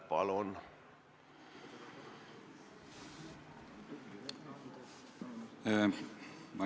Palun!